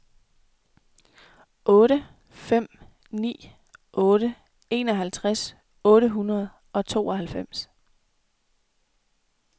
otte fem ni otte enoghalvtreds otte hundrede og tooghalvfems